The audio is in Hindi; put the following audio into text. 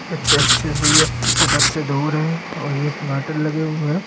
प्रत्यक्ष भईया से दूर हैंसेटअप से दूर हैं और ये हुए हैं।